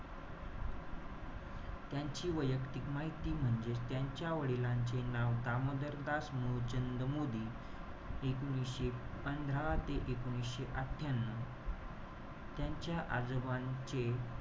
त्यांची वैयक्तिक माहिती म्हणजेच त्यांच्या वडिलांचे नाव दामोदरदास मुलचंद मोदी. एकोणीशे पंधरा ते एकोणीशे अठ्ठयांन्यू त्यांच्या आजोबांचे,